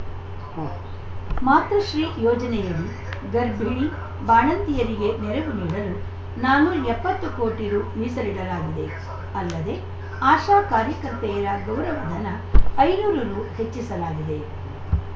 ಉಂ ಮಾತೃಶ್ರೀ ಯೋಜನೆಯಡಿ ಗರ್ಭಿಣಿ ಬಾಣಂತಿಯರಿಗೆ ನೆರವು ನೀಡಲು ನಾನೂರ ಎಪ್ಪತ್ತು ಕೋಟಿ ರು ಮೀಸಲಿಡಲಾಗಿದೆ ಅಲ್ಲದೆ ಆಶಾ ಕಾರ್ಯಕರ್ತೆಯ ಗೌರವಧನ ಐನೂರು ರು ಹೆಚ್ಚಿಸಲಾಗಿದೆ